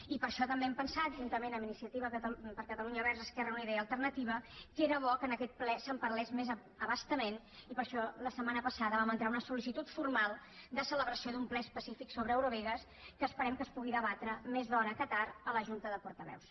i per això també hem pensat juntament amb iniciativa per catalunya verds esquerra unida i alternativa que era bo que en aquest ple se’n parlés més a bastament i per això la setmana passada vam entrar una sol·licitud formal de celebració d’un ple específic sobre eurovegas que esperem que es pugui debatre més d’hora que tard a la junta de portaveus